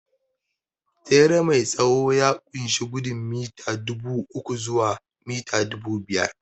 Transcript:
Tsere mai tsawo ya ƙunshi gudun mita dubu uku zuwa mita dubu biyar